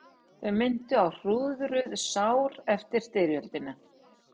Þau minntu á hrúðruð sár eftir styrjöldina.